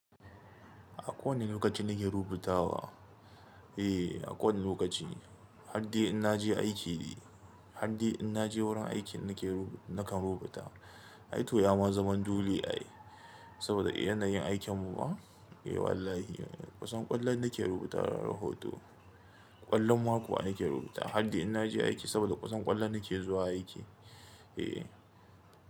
A kowane lokaci nake rubutawa. Eh, a kowane lokaci. Har dai in na je aiki ne, har dai in na je wurin aikin nake ru-- nakan rubuta. Ai to yama zama dole ai saboda yanayin aikin mu ma? Eh wallahi. Kusan kullun nake rubuta rahoto. Kullum ma ko ake rubuta har dai in na je aiki saboda kusan kullum nake zuwa aiki. Eh.